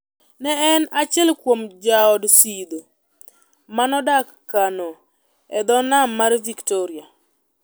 Ne en achiel kuom jood Sidho ma nodak Kano, e dho Nam mar Victoria.